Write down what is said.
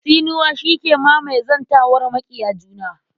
Tsinuwa shi ke mamaye zantawar maƙiya juna.